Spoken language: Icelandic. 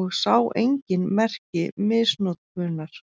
og sá engin merki misnotkunar.